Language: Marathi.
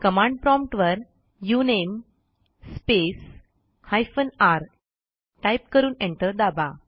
कमांड प्रॉम्प्ट वर उनमे स्पेस हायफेन र टाईप करून एंटर दाबा